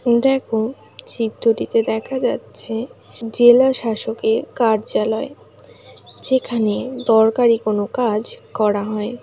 দেখো চিত্রটিতে দেখা যাচ্ছেজেলা শাসকের কার্যালয় যেখানে দরকারি কোনো কাজকরা হয়।